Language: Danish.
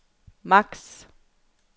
maks